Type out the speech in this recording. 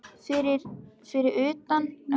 Fyrir utan blasti við hrikaleg sjón.